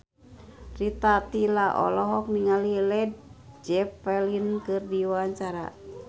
Rita Tila olohok ningali Led Zeppelin keur diwawancara